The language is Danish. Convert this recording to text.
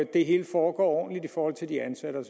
det hele foregår ordentligt i forhold til de ansatte og